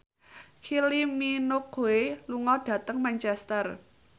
Kylie Minogue lunga dhateng Manchester